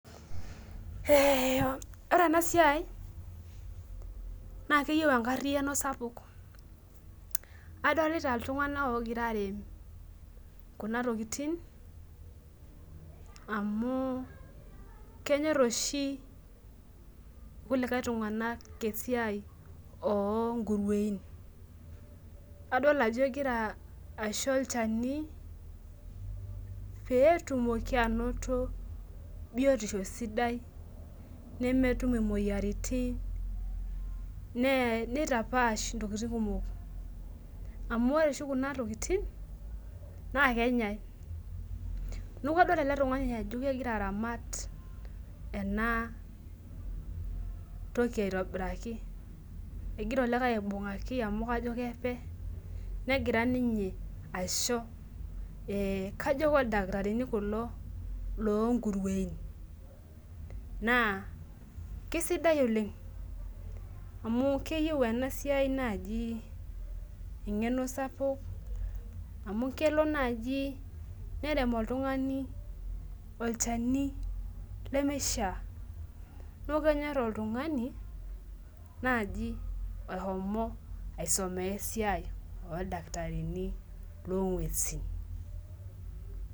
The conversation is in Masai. Ore enasiai naa keyieu enkariano sapuk, adolita iltunganak ogira arip kuna tokitin amu kenyor oshi kulikae tunganak esia okuruein adol ajo egira aisho olchani petumoki anoto biotisho sidai nemetum imoyiaritin ne neitapash ntokitin kumok amu ore oshi kuna tokitin naa kenyanyuk .Niaku kadol ele tungani ajo kegira aramat enatoki aitobiraki ,egira olikae aibungaki amu kajo kepe , negira ninye aisuj ee kajo keldakitarini kulo loonkurueni naa kisidai oleng amu keyieu enasiai naji engeno sapuk amu kelo naji nerem oltungani olchani lemeishiaa , niaku kenyor oltungani naji ohomo aisomea esiai oldakitarini longwesi.